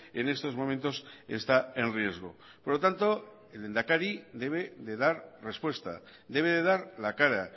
en estos momentos está en riesgo por lo tanto el lehendakari debe de dar respuesta debe de dar la cara